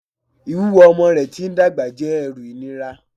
Ìwúwo ọmọ rẹ̀ tí ń dàgbà jẹ́ ẹrù ìnira